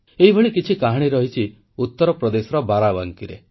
ଏହିଭଳି କିଛି କାହାଣୀ ରହିଛି ଉତ୍ତରପ୍ରଦେଶର ବାରାବଙ୍କୀର